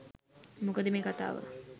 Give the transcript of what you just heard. මොකද මේ කතාව